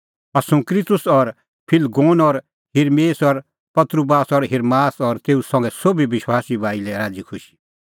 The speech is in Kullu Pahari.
असुंक्रितुस और फिलगोन और हिरमेस और पत्रुवास और हिर्मास और तेऊ संघै सोभी विश्वासी भाई लै राज़ीखुशी